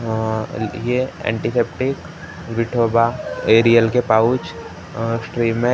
Antiseptic बैठोबा Ariel के pouch श्रेमिक्स ।